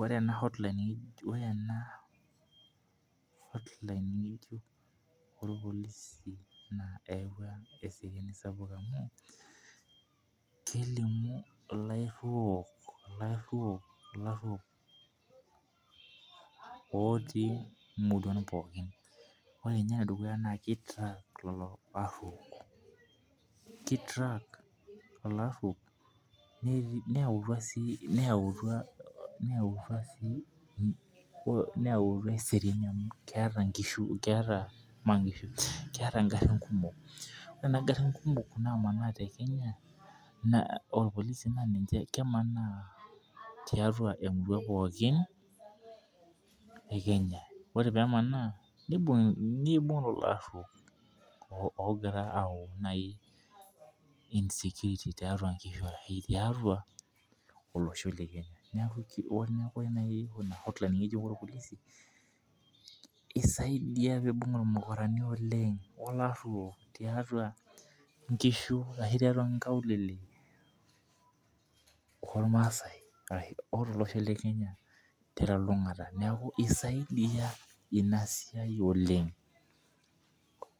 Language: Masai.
Ore ena cs[hotline]cs ng'ejuk, ore ena, cs[hotline]cs ng'ejuk oorpolisi naa eyawua eeriani sapuk amuu, kelimu ilarruok ilarruok illaruok, ooti imuruan pookin, ore ninye ene dukuya naa kitrak lelo arruok kitrak lelo arrouk netii neyawutu asii neyawutua neyawutua sii neyawutua eseriani amuu keeta inkishu keeta maa nkishu keeta ingarrin kumok ore kuna garrin kumok namanaa tekenya naa orrpolisi naa ninche kemaana tiatua emurua pookin, ekenya ore peemanaa niibing' lelo arruok oogira atau cs[insecurity]cs tiatua inkushu arashu tiatua olosho lekenya neeku ore naai ina cs[hotline]cs orrpolisi ng'ejuk oorpolisi naa isaidia piibung' ilmukurani oleng' olarruok tiatua inkishu arashu tiatua inkaulele ormaasai arashu otolosho lekenya telulung'ata neeku isaidia ina siai oleng'